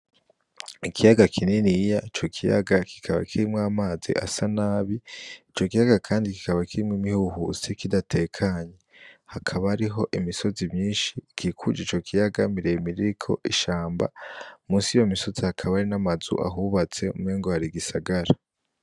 Ikiyaga kininiya ico kiyaga kikaba kirimwo amazi asa nabi ico kiyaga kandi kikaba kirimwo imihuhusi kidatekanye hakaba hariho imisozi myinshi ikikuje ico kiyaga miremire iriko ishamba munsi yiyo misozi hakaba hari n'amazu ahubatse umwengo hari igisagara.